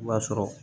I b'a sɔrɔ